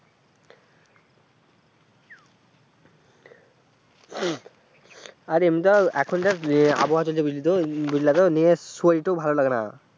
আর এমনিতেও এখন যা আবহাওয়া চলছে বুঝলি তো বুঝলা তো নিজের শরীরটাও ভালো লাগেনা।